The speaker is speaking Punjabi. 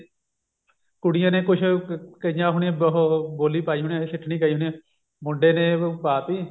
ਕੁੜੀਆਂ ਨੇ ਕੁੱਝ ਕਹੀਆਂ ਹੋਣੀਆਂ ਵੀ ਉਹ ਬੋਲੀ ਪਾਈ ਹੋਣੀ ਸਿੱਠਣੀ ਗਾਈ ਹੋਣੀ ਮੁੰਡੇ ਨੇ ਪਾਤੀ